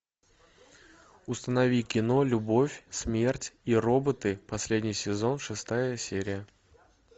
установи кино любовь смерть и роботы последний сезон шестая серия